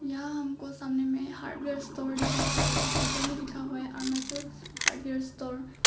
यहां हमको सामने में हार्डवेयर स्टोर दिखाई पड़ रहा है वहां ऊपर में लिखा हुआ है अरुणाचल हार्डवेयर स्टोर ।